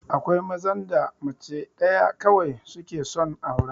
Akwai mazan da mace ɗaya kawai suke son aura